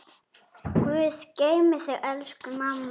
Guð geymi þig, elsku mamma.